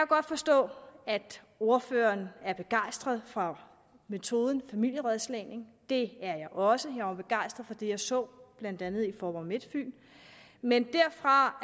godt forstå at ordføreren er begejstret for metoden familierådslagning det er jeg også jeg var begejstret for det jeg så blandt andet i faaborg midtfyn men derfra og